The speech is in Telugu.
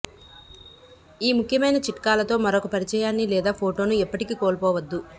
ఈ ముఖ్యమైన చిట్కాలతో మరొక పరిచయాన్ని లేదా ఫోటోను ఎప్పటికీ కోల్పోవద్దు